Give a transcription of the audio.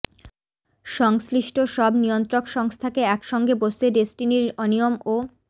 সংশ্লিষ্ট সব নিয়ন্ত্রক সংস্থাকে একসঙ্গে বসে ডেসটিনির অনিয়ম ও